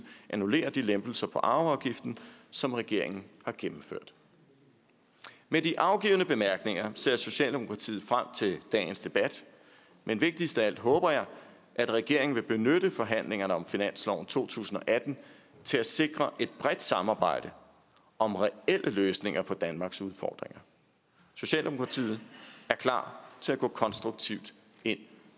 annullere de lempelser på arveafgiften som regeringen har gennemført med de afgivne bemærkninger ser socialdemokratiet frem til dagens debat men vigtigst af alt håber jeg at regeringen vil benytte forhandlingerne om finansloven for to tusind og atten til at sikre et bredt samarbejde om reelle løsninger på danmarks udfordringer socialdemokratiet er klar til at gå konstruktivt ind